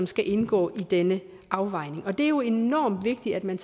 skal indgå i denne afvejning det er jo enormt vigtigt at man